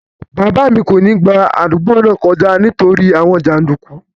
Bàbá mi kò ní gba àdúgbò náà kọjá nítorí àwọn jàndùkú